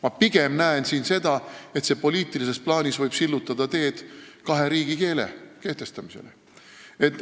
Ma pigem näen siin seda, et poliitilises plaanis võib see sillutada teed kahe riigikeele kehtestamisele.